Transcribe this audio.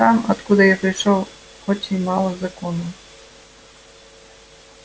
там откуда я пришёл очень мало законов